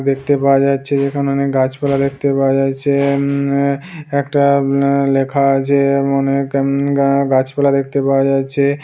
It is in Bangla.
দেখতে পাওয়া যাচ্ছে যেখানে অনেক গাছপালা দেখতে পাওয়া যাচ্ছে উম একটা উম লেখা আছে অনেক এম আ গাছপালা দেখতে পাওয়া যাচ্ছে।